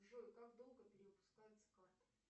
джой как долго перевыпускается карта